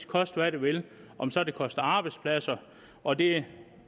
koste hvad det vil om så det koster arbejdspladser og det